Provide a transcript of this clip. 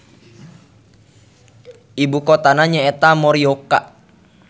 Ibukotana nyaeta Morioka.